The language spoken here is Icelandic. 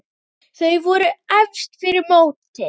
Þau voru efst fyrir mótið.